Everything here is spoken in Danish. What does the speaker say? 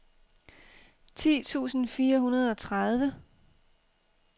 ti tusind fire hundrede og tredive